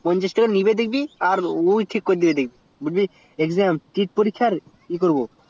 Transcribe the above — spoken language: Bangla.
পঞ্চাশ টাকা নিবে দেখবি আর ওই ঠিক করে দিবে আর তুই বলবি পরীক্ষার ই করবো